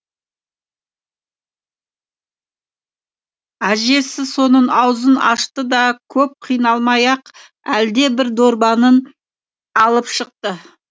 әжесі соның аузын ашты да көп қиналмай ақ әлдебір дорбаны алып шықты